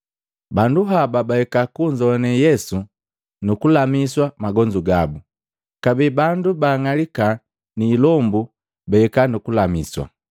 Bandu haba bahika kunzoane Yesu nu kulamiswa magonzu gabu. Kabee bandu baang'alika ni ilombu bahika nukulamiswa.